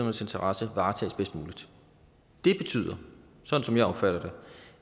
interesser varetages bedst muligt det betyder sådan som jeg opfatter